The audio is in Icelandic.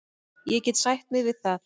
Ég get sætt mig við það.